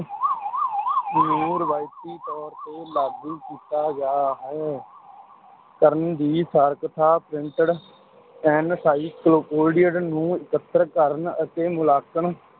ਨੂੰ ਰਵਾਇਤੀ ਤੌਰ ਤੇ ਲਾਗੂ ਕੀਤਾ ਗਿਆ ਹੈ ਕਰਨ ਦੀ ਸਾਰਥਕਤਾ printed encyclopedia ਨੂੰ ਇਕੱਤਰ ਕਰਨ ਅਤੇ ਮੁਲਾਂਕਣ